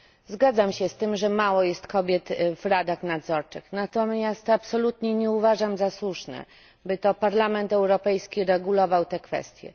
Zgadzam się z tym, że mało jest kobiet w radach nadzorczych, natomiast absolutnie nie uważam za słuszne, by to Parlament Europejski regulował tę kwestię.